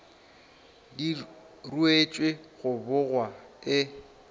di ruetšwe go bogwa e